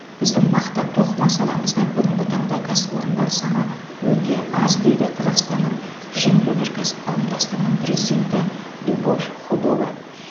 біздің мақта тоқыма саламызда бүгінгі таңда кәсіпорындар саны өте аз дейді қазақстанның жеңіл өнеркәсіп қауымдастығының президенті любовь худова